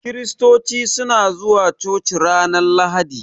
Kiristoci suna zuwa coci ranar lahadi.